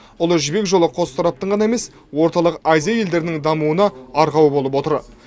ұлы жібек жолы қос тараптың ғана емес орталық азия елдерінің дамуына арқау болып отыр